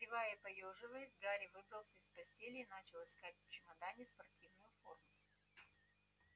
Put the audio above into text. зевая и поёживаясь гарри выбрался из постели и начал искать в чемодане спортивную форму